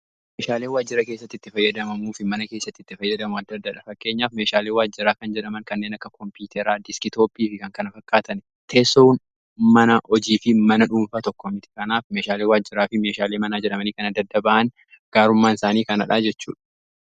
Meeshaaleen waajjira keessatti itti fayyadamamuufi mana keessatti itti fayyadamaa adda addadha fakkeenyaaf. Meeshaalee waajjiraa kan jedhaman kanneen akka koompiyuteraa, deeskitooppii fi kan kana fakkaatan, teessoon mana hojii fi mana dhuunfaa tokko mitii. Kanaaf meeshaalee waajjiraa fi meeshaalee manaa jedhamanii kana addadda ba'an gaarummaan isaanii kanadha jechuudha.